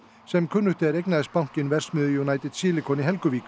sem kunnugt er eignaðist bankinn verksmiðju United Silicon